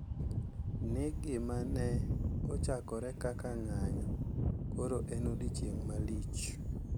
Ni gima ne ochakore kaka ng`anyo koro en odiechieng` malich.